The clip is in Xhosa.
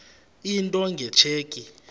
into nge tsheki